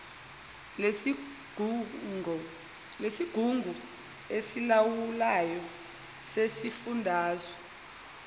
lesigungu esilawulayo sesifundazwe